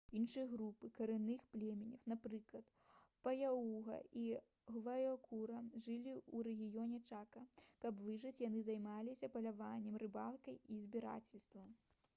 іншыя групы карэнных плямёнаў напрыклад паягуа і гвайкуру жылі ў рэгіёне чака каб выжыць яны займаліся паляваннем рыбалкай і збіральніцтвам